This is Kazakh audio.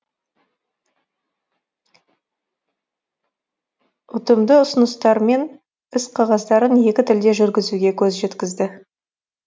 үтымды үсыныстармен іс кағаздарын екі тілде жургізуге көз жеткізді